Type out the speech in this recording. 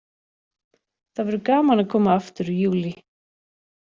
Það verður gaman að koma aftur í Júlí.